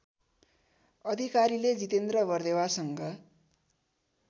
अधिकारीले जितेन्द्र बर्देवासँग